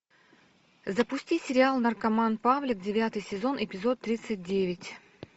запусти сериал наркоман павлик девятый сезон эпизод тридцать девять